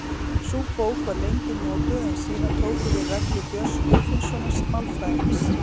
Sú bók var lengi notuð en síðar tóku við reglur Björns Guðfinnssonar málfræðings.